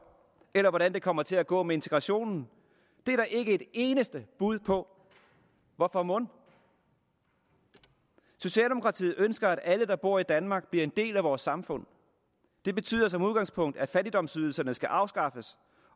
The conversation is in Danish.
eller hvordan det kommer til at gå med integrationen er der ikke et eneste bud på hvorfor mon socialdemokratiet ønsker at alle der bor i danmark bliver en del af vores samfund det betyder som udgangspunkt at fattigdomsydelserne skal afskaffes